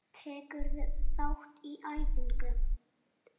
Tekurðu þátt í æfingum?